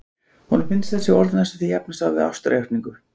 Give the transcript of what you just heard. Honum finnst þessi orð næstum því jafnast á við ástarjátningu.